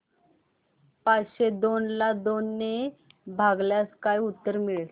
पाचशे दोन ला दोन ने भागल्यास काय उत्तर मिळेल